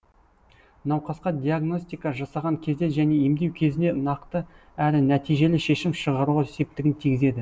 науқасқа диагностика жасаған кезде және емдеу кезінде нақты әрі нәтижелі шешім шығаруға септігін тигізеді